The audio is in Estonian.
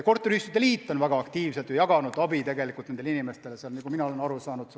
Korteriühistute liit on väga aktiivselt jaganud abi nendele inimestele, nii palju kui ma olen aru saanud.